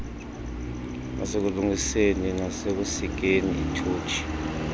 nasekulungiseni nasekusikeni itotshi